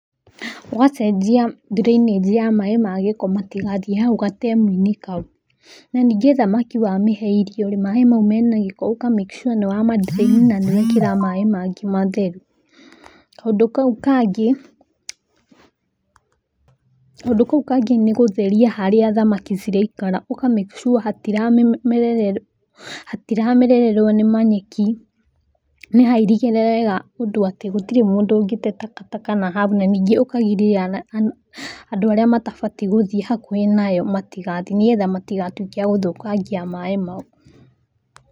Ũgacenjia drainage ya maĩ ma gĩko matigathiĩ hau gatemu-inĩ kau. Na ningĩ thamaki wamĩhe irio rĩ, maĩ mau mena gĩko ũka make sure nĩ wa ma drain na nĩwekĩra maĩ mangĩ matheru. Kaũndũ kau kangĩ, kaũndũ kau kangĩ nĩ gũtheria harĩa thamaki ciraikara, ũka make sure hatiramerererwo nĩ manyeki nĩ hairigĩre wega ũndũ atĩ gũtirĩ mũndũ ũngĩte takataka nahau na ningĩ ũkagiria andũ arĩa matabatiĩ gũthiĩ hakuhĩ nayo matigathiĩ nĩgetha matigatuĩke a gũthũkangia maĩ mau.